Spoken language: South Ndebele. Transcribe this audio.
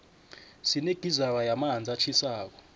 sinegizara yamanzi atjhisako